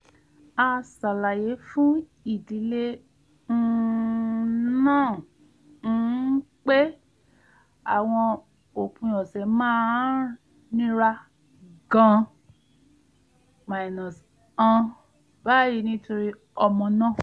a ṣàlàyé fún ìdílé um náà um pé àwọn òpin ọ̀sẹ̀ máa ń nira gan-an báyìí nítorí ọmọ náà